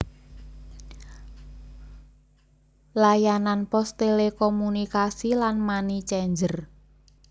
Layanan pos telekomunikasi lan money changer